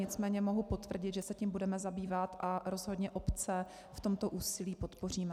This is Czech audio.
Nicméně mohu potvrdit, že se tím budeme zabývat a rozhodně obce v tomto úsilí podpoříme.